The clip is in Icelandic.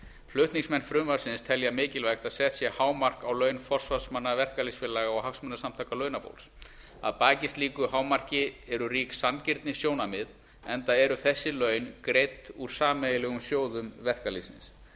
flutningsmenn frumvarpsins telja mikilvægt að sett sé hámark á laun forsvarsmenn verkalýðsfélaga og hagsmunasamtaka launafólks að baki slíku hámarki eru rík sanngirnissjónarmið enda eru þessi laun greidd úr sameiginlegum sjóðum verkalýðsins